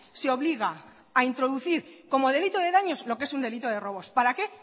se obliga a introducir como delito de daños lo que es un delito de robos para qué